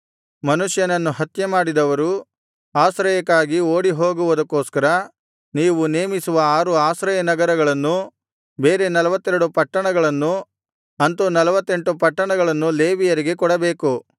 ಮನುಷ್ಯನನ್ನು ಹತ್ಯೆಮಾಡಿದವರು ಆಶ್ರಯಕ್ಕಾಗಿ ಓಡಿ ಹೋಗುವುದಕ್ಕೋಸ್ಕರ ನೀವು ನೇಮಿಸುವ ಆರು ಆಶ್ರಯನಗರಗಳನ್ನೂ ಬೇರೆ ನಲ್ವತ್ತೆರಡು ಪಟ್ಟಣಗಳನ್ನೂ ಅಂತು ನಲ್ವತ್ತೆಂಟು ಪಟ್ಟಣಗಳನ್ನು ಲೇವಿಯರಿಗೆ ಕೊಡಬೇಕು